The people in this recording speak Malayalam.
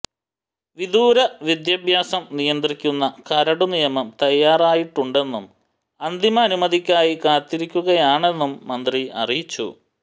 വിദൂര വിദ്യാഭ്യാസം നിയന്ത്രിക്കുന്ന കരടുനിയമം തയ്യാറായിട്ടുണ്ടെന്നും അന്തിമ അനുമതിക്കായി കാത്തിരിക്കുകയാണെന്നും മന്ത്രി അറിയിച്ചു